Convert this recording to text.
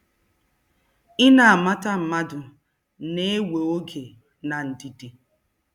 Ị na mata mmadụ a na-ewe oge na ndidi.